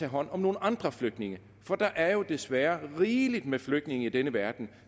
hånd om nogle andre flygtninge for der er jo desværre rigeligt med flygtninge i denne verden